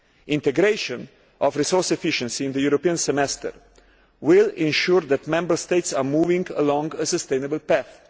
Integration of resource efficiency into the European Semester will ensure that Member States are moving along a sustainable path.